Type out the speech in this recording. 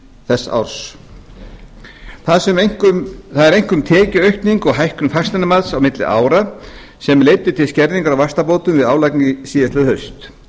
þess árs það eru einkum tekjuaukning og hækkun fasteignamats á milli ára sem leiddu til skerðingar á vaxtabótum við álagningu síðastliðið haust